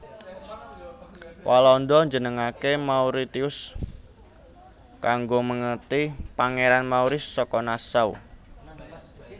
Walanda njenengaké Mauritius kanggo mèngeti Pangeran Maurice saka Nassau